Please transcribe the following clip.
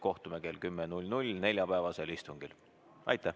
Kohtume kell 10 neljapäevasel istungil!